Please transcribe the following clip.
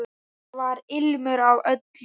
Þar var ilmur af öllu.